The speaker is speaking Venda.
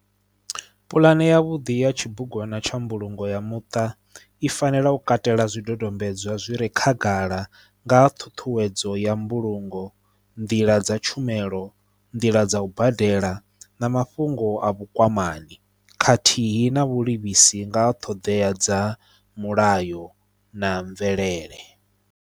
Pulane ya vhuḓi ya tshibugwana tsha mbulungo ya muṱa i fanela u katela zwidodombedzwa zwi re khagala nga ha ṱhuṱhuwedzo ya mbulungo nḓila dza tshumelo nḓila dza u badela na mafhungo a vhukwamani khathihi na vhulivhisi nga ṱhoḓea dza mulayo na mvelele.